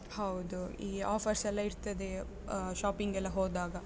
ಹೌದು. ಈ offers ಎಲ್ಲ ಇರ್ತದೆ, ಆ shopping ಎಲ್ಲ ಹೋದಾಗ.